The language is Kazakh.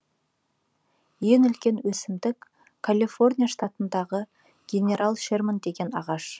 ең үлкен өсімдік калифорния штатындағы генерал шерман деген ағаш